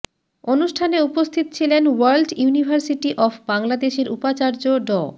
অনুষ্ঠানে উপস্থিত ছিলেন ওয়ার্ল্ড ইউনিভার্সিটি অব বাংলাদেশের উপাচার্য ড